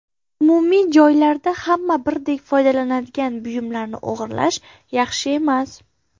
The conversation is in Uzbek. Umumiy joylarda, hamma birdek foydalanadigan buyumlarni o‘g‘irlash yaxshi emas.